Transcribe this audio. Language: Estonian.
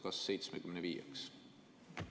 Kas 75‑ks?